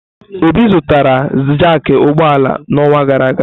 Obi zụtara jaaki ụgbọ ala n'ọnwa gara aga.